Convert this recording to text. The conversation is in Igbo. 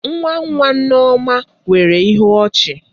Nwa nwa Nneoma nwere ịhụ ọchi.